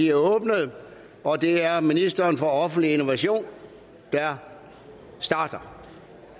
er åbnet og det er ministeren for offentlig innovation der starter